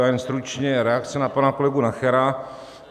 Já jen stručně reakce na pana kolegu Nachera.